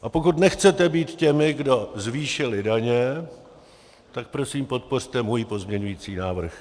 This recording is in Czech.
A pokud nechcete být těmi, kdo zvýšili daně, tak prosím podpořte můj pozměňovací návrh.